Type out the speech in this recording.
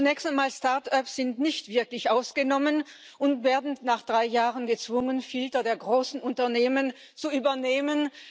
Zunächst einmal Start ups sind nicht wirklich ausgenommen und werden nach drei Jahren gezwungen, Filter der großen Unternehmen zu übernehmen.